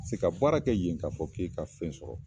Se ka baara kɛ yen k'a fɔ k'e ka fɛn sɔrɔ